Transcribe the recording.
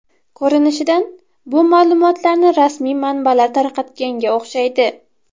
Ko‘rinishidan, bu ma’lumotlarni rasmiy manbalar tarqatganga o‘xshaydi.